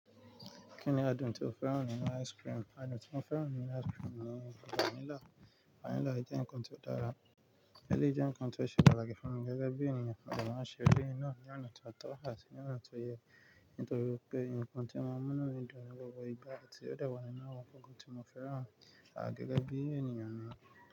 Kí ni adùn tí ó fẹ́ràn nínú ice cream? Adùn tí mo fẹ́ràn nínú ice cream ni vanilla. Vanilla jẹ́ ǹkan tó dára, ẹlẹ́yìí jẹ́ ǹkan tó ṣe pàtàkì fún mi gẹ́gẹ́ bí ènìyàn. Mode ma n ṣe eléyi náa ní ọ̀nà tó tọ́ àti ní ọ̀nà tó yẹ, nítorí pé ǹkan tí o maa n mú nú mí dun ni gbogbo ìgbà àti ó dewa nínú àwọn ǹkan tí mo fẹ́ràn. A gẹ́gẹ́ bí ènìyàn na.